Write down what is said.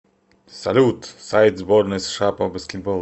салют сайт сборная сша по баскетболу